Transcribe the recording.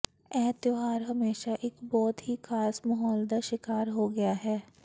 ਇਹ ਤਿਉਹਾਰ ਹਮੇਸ਼ਾ ਇੱਕ ਬਹੁਤ ਹੀ ਖਾਸ ਮਾਹੌਲ ਦਾ ਸ਼ਿਕਾਰ ਹੋ ਗਿਆ ਹੈ